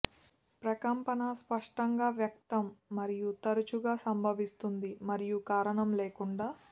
ప్రకంపన స్పష్టంగా వ్యక్తం మరియు తరచుగా సంభవిస్తుంది మరియు కారణం లేకుండా